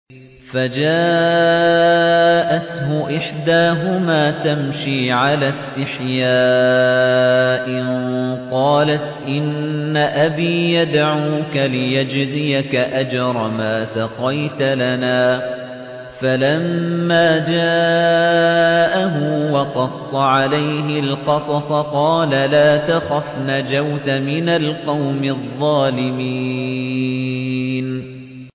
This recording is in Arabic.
فَجَاءَتْهُ إِحْدَاهُمَا تَمْشِي عَلَى اسْتِحْيَاءٍ قَالَتْ إِنَّ أَبِي يَدْعُوكَ لِيَجْزِيَكَ أَجْرَ مَا سَقَيْتَ لَنَا ۚ فَلَمَّا جَاءَهُ وَقَصَّ عَلَيْهِ الْقَصَصَ قَالَ لَا تَخَفْ ۖ نَجَوْتَ مِنَ الْقَوْمِ الظَّالِمِينَ